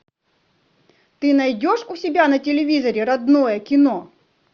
ты найдешь у себя на телевизоре родное кино